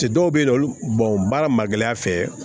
Cɛ dɔw be yen nɔ olu baara ma gɛlɛya fɛ